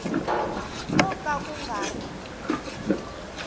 ko ka ku nga ri